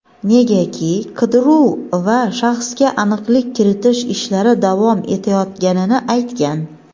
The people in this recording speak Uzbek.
negaki qidiruv va shaxsga aniqlik kiritish ishlari davom etayotganini aytgan.